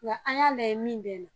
Wa an y'a lajɛ min bɛ n na